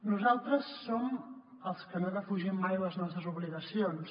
nosaltres som els que no defugim mai les nostres obligacions